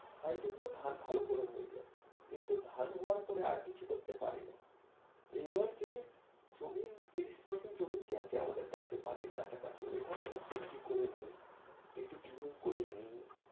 তাই জন্য ধান ভালো করে হয়ে যায় কিন্তু ধান হওয়ার পরে আর কিছু করতে পারিনা এই বার যেই জমিন ত্রিশ percent যে জমিন আছে আমাদের কাছে বাড়ির কাছে কাছে ওই খানে আমরা সবজি করি নিই একটু কিউব করে নিই।